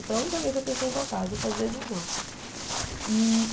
E foi a única vez que eu pensei em voltar, as outras vezes não. E